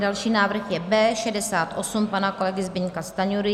Další návrh je B68 pana kolegy Zbyňka Stanjury.